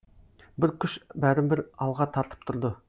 бір күш бәрібір алға тартып тұрды